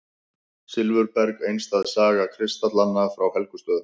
Silfurberg: einstæð saga kristallanna frá Helgustöðum.